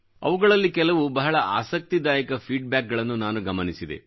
ಅವುಗಳಲ್ಲಿ ಕೆಲವು ಬಹಳ ಆಸಕ್ತಿದಾಯಕ ಫೀಡ್ ಬ್ಯಾಕ್ ಗಳನ್ನು ನಾನು ಗಮನಿಸಿದೆ